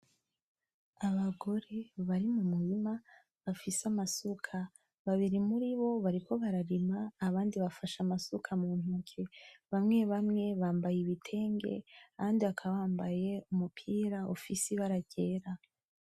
Abagore bari mumurima bafise amasuka babiri muribo bariko bararima abandi bafashe amasuka muntoke, bamwe bamwe bambaye ibitenge abandi bakaba bambaye umupira ufise ibara ryera .